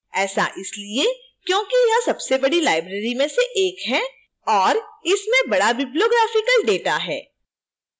ऐसा इसलिए क्योंकि यह सबसे बड़ी library में से एक है और इसमें बड़ा bibliographical data है